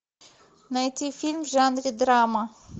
найти фильм в жанре драма